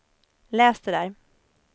läs det där